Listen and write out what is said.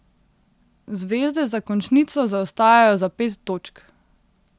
Zvezde za končnico zaostajajo za pet točk.